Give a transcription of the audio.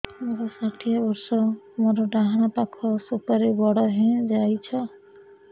ମୋର ଷାଠିଏ ବର୍ଷ ମୋର ଡାହାଣ ପାଖ ସୁପାରୀ ବଡ ହୈ ଯାଇଛ